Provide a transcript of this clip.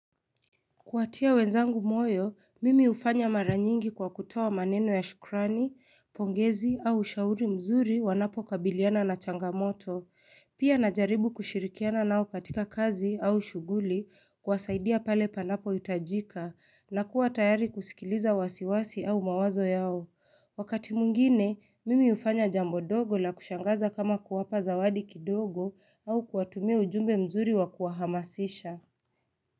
Kuwatia wenzangu moyo, mimi hufanya maranyingi kwa kutoa maneno ya shukrani, pongezi au ushauri mzuri wanapo kabiliana na changamoto. Pia najaribu kushirikiana nao katika kazi au shuguli kuwasaidia pale panapo itajika, na kuwa tayari kusikiliza wasiwasi au mawazo yao. Wakati mwingine, mimi ufanya jambo dogo la kushangaza kama kuwapa zawadi kidogo au kuwatumia ujumbe mzuri wakuwahamasisha.